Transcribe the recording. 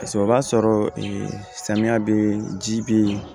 Paseke o b'a sɔrɔ samiya bɛ ji bɛ yen